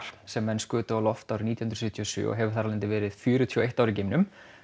sem menn skutu á loft árið nítján hundruð sjötíu og sjö og hefur þar af leiðandi verið í fjörutíu og eitt ár í geimnum